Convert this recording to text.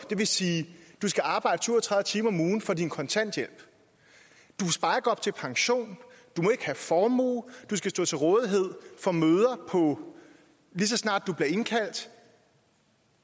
det vil sige at du skal arbejde syv og tredive timer om ugen for din kontanthjælp du sparer op til pension du må ikke have formue du skal stå til rådighed for møder lige så snart du bliver indkaldt